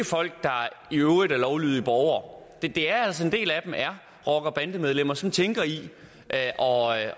folk der i øvrigt er lovlydige borgere en er altså rocker og bandemedlemmer som tænker i at